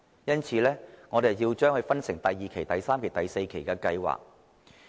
因此，要分成第二期、第三期及第四期的計劃。